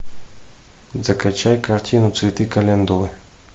закачай картину цветы календулы